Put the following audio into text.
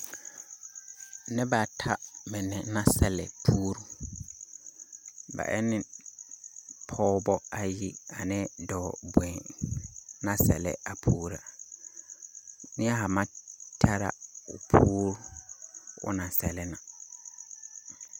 Nebaata mine na sɛle puuru. Ba e ne pɔɔbɔ ayi ane dɔɔ boen na sɛle a puuru . Neɛ ha maŋ tɛra o puuru o naŋ sɛle na.